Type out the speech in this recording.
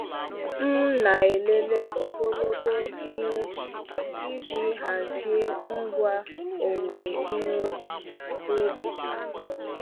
M na-elele ogologo ihe ubi iji hazie ngwa owuwe ihe ubi. ubi.